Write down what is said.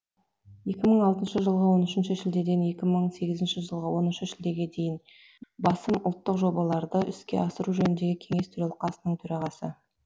екі мың алтыншы жылғы он үшінші шілдеден екі мың сеізінші жылғы оныншы шілдеге дейін басым ұлттық жобаларды іске асыру жөніндегі кеңес төралқасының төрағасы